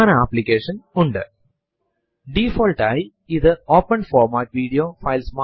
അടുത്ത കമാൻഡ് നമ്മൾ ഇപ്പോൾ പ്രവര്ത്തിച്ചുകൊണ്ടിരിക്കുന്ന ഡയറക്ടറി ഏതെന്നു കാണുവാൻ സഹായിക്കുന്നു